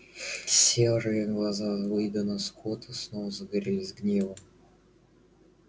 серые глаза уидона скотта снова загорелись гневом